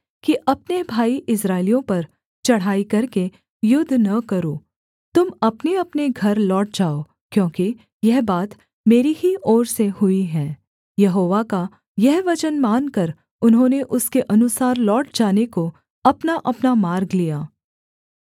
कि अपने भाई इस्राएलियों पर चढ़ाई करके युद्ध न करो तुम अपनेअपने घर लौट जाओ क्योंकि यह बात मेरी ही ओर से हुई है यहोवा का यह वचन मानकर उन्होंने उसके अनुसार लौट जाने को अपनाअपना मार्ग लिया